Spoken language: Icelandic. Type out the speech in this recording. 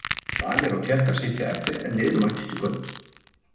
Danir og Tékkar sitja eftir en liðin mættust í kvöld.